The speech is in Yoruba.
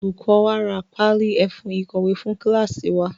Olùkọ wa ra páálí ẹfun ìkọ̀wé fún kíláásì wa.